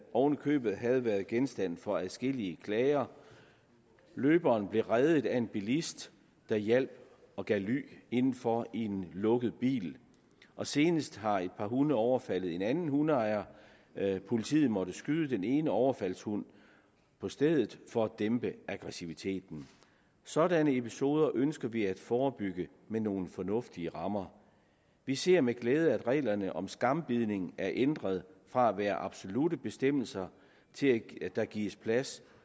oven i købet havde været genstand for adskillige klager løberen blev reddet af en bilist der hjalp og gav ly indenfor i en lukket bil senest har et par hunde overfaldet en anden hundeejer politiet måtte skyde den ene overfaldshund på stedet for at dæmpe aggressiviteten sådanne episoder ønsker vi at forebygge med nogle fornuftige rammer vi ser med glæde at reglerne om skambidning er ændret fra at være absolutte bestemmelser til at der gives plads